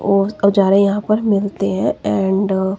ओर अवजारे यहां पर मिलते हैं एंड --